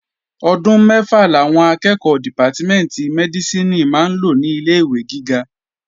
Ọdún mẹ́fà làwọn akẹ́ẹ̀kọ́ dìpátímẹ̀ntì Mẹ́dísìnì máa lò ní ilé-ìwé gíga